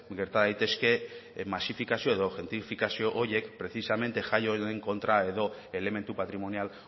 gerta daitezke masifikazio edo gentrifikazio horiek precisamente jai horren kontra edo elementu patrimonial